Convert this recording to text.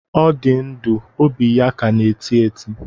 Ọ dị ndụ, óbị ya ka na-eti eti